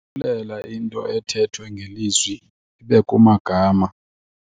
into ethethwe ngelizwi ibe kumagama.